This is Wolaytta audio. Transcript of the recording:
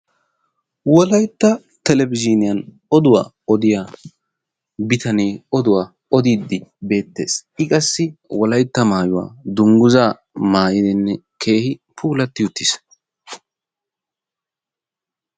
Wolaytta telebezhiniyaan oduwa odiya bitane oduwa oddiidi bettees. I qassi wolaytta maayuwa dungguzza maayidinne keehi puulati uttiis.